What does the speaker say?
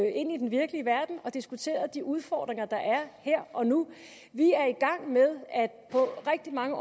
ind i den virkelige verden og diskuterede de udfordringer der er her og nu vi er i gang med på rigtig mange